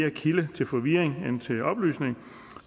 en kilde til forvirring end til oplysning